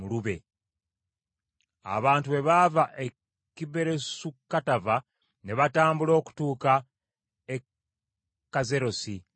Abantu bwe baava e Kiberosu Katava ne batambula okutuuka e Kazerosi ne babeera awo.